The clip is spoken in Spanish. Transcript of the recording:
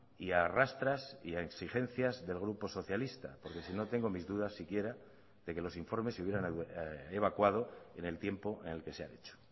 y arrastras y a exigencias del grupo socialista porque si no tengo mis dudas siquiera de que los informes se hubieran evacuado en el tiempo en el que se ha hecho